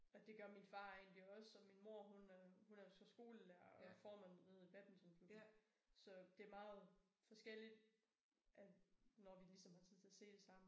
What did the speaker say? Og det gør min far egentlig også og min mor hun er hun er jo så skolelærer og formand nede i badmintonklubben så det meget forskelligt at når vi ligesom har tid til at se det sammen